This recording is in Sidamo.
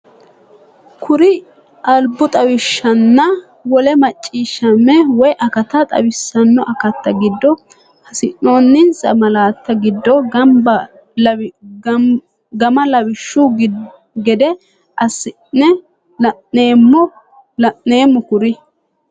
Kuri albu xawishshinna wole macciishshamme woy akata xawissanno akatta giddo hasiissannonsa malaatta giddo gama lawishshu gede ass- ine la’neemmo Kuri.